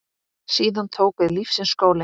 Síðan tók við lífsins skóli.